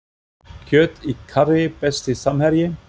Kjöt í karrí Besti samherji?